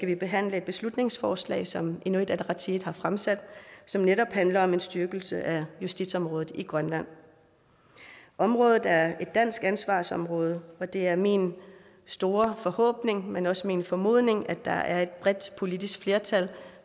vi behandle et beslutningsforslag som inuit ataqatigiit har fremsat som netop handler om en styrkelse af justitsområdet i grønland området er et dansk ansvarsområde og det er min store forhåbning men også min formodning at der er et bredt politisk flertal